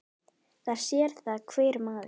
Það sér það hver maður.